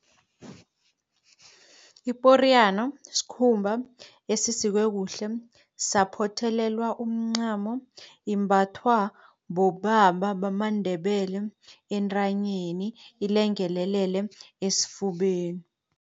Iporiyana sikhumba esisikwe kuhle saphothelelwa umncamo, imbathwa bobaba bamaNdebele entanyeni ilengelelele esifubeni.